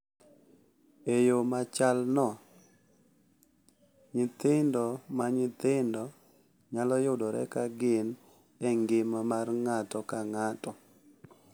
E yo machalno, nyithindo ma nyithindo nyalo yudore ka gin e ngima mar ng’ato ka ng’ato,